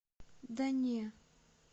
да не